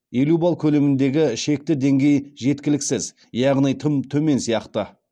елу балл көлеміндегі шекті деңгей жеткіліксіз яғни тым төмен сияқты